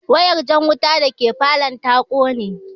Wayar jan wuta dake falow ta kone